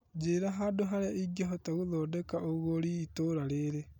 Njĩra handũ harĩa ingĩhota gũthondeka ũgũri itũra rĩrĩ .